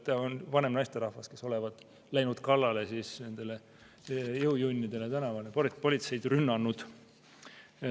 Ta on vanem naisterahvas, olevat läinud kallale nendele jõujunnidele tänaval, politseid rünnanud.